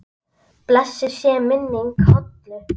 Blessuð sé minning Hollu.